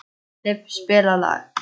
Filippa, spilaðu lag.